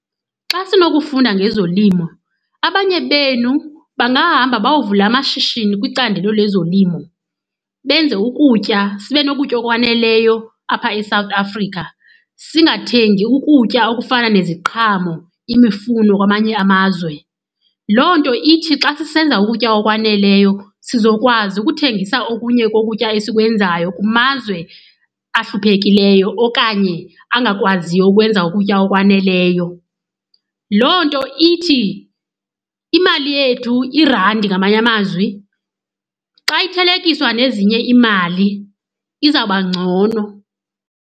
Xa sinokufunda ngezolimo abanye benu bangahamba bayovula amashishini kwicandelo lezolimo, benze ukutya sibe nokutya okwaneleyo apha eSouth Africa, singathengi ukutya okufana neziqhamo, imifuno kwamanye amazwe. Loo nto ithi xa sisenza ukutya okwaneleyo sizokwazi ukuthengisa okunye kokutya esikwenzayo kumazwe ahluphekileyo okanye angakwaziyo ukwenza ukutya okwaneleyo. Loo nto ithi imali yethu, irandi ngamanye amazwi, xa ithelekiswa nezinye imali izawuba ngcono.